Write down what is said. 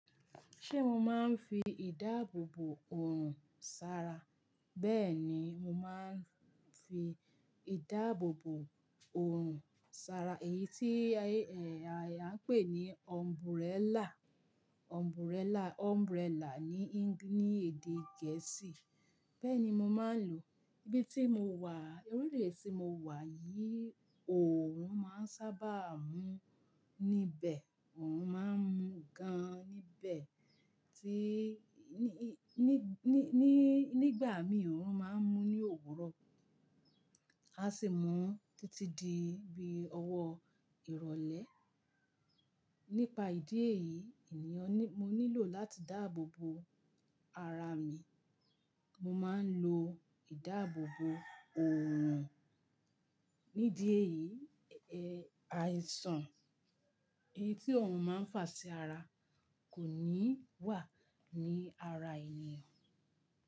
Ṣé mo máa ń fi ìdáàbòbò òrùn sara? Bẹ́ẹ̀ ni, mo máa ń fi ìdáàbòbò òrùn sara, èyí tí, ẹ, ààyà ń pè ní umbrella, umbrella, umbrella ní, ní èdè Gẹ̀ẹ́sì. Bẹ́ẹ̀ ni mo máa ń lò, ibi tí mo wà, orílẹ̀ tí mo wà yìí, òorùn máa ń sábà mú níbẹ̀. Òrùn máa ń mú gan níbẹ̀ tí, ní, ní, ní, nígbà mìíràn òrùn máa ń mú ní òwúrọ̀. A sì mú títí di bí ọwọ́ ìrọ̀lẹ́. Nípa ìdí èyí ènìyàn ní, mo nílò láti dáàbòbo ara mi. Mo máa ń lo ìdáàbòbò òrùn. Nídi èyí, ẹ, àìsàn èyí tí òòrùn máa ń fà sí ara kò ní wà ní ara ènìyàn.